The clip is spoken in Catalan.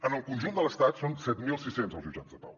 en el conjunt de l’estat són set mil sis cents els jutjats de pau